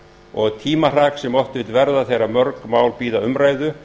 og tímahrak sem oft vill verða þegar mörg mál bíða umræðu